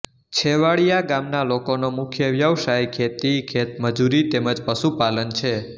છેવાડીયા ગામના લોકોનો મુખ્ય વ્યવસાય ખેતી ખેતમજૂરી તેમ જ પશુપાલન છે